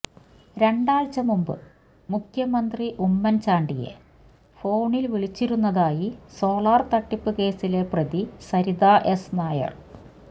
രണ്ടാഴ്ചമുമ്പ് മുഖ്യമന്ത്രി മുഖ്യമന്ത്രി ഉമ്മന്ചാണ്ടിയെ ഫോണില് വിളിച്ചിരുന്നതായി സോളാര് തട്ടിപ്പ് കേസിലെ പ്രതി സരിത എസ് നായര്